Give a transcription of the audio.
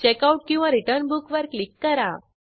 आपल्याला उपलब्ध असलेल्या सर्व पुस्तकांची यादी मिळालेली आहे